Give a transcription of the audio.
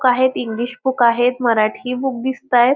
क आहेत English book आहेत मराठी बुक दिसताहेत.